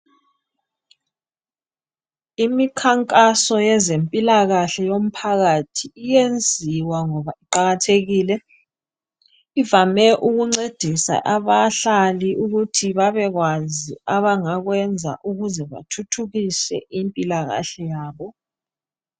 Imikhankazo yezempilakahle yomphakathi iyenziwa ngoba iqakathekile, ivame ukuncedisa abahlali ukuthi babekwazi abangakwenza ukuze bathuthukise impilakahle yabo